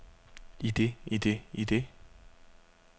idet idet idet